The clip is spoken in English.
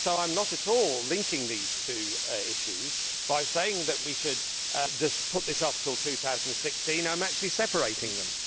I am not at all linking these two issues by saying that we should just put this off until 2016 I am actually separating them.